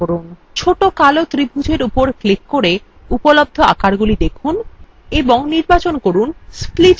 ছোট কালো ত্রিভুজ arrow উপর click করে উপলব্ধ আকারগুলি দেখুন এবং নির্বাচন করুন split arrow